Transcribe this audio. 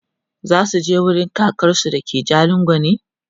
zasuje wurin kakansu da ke jalingo ne?